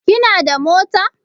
Kina da mota?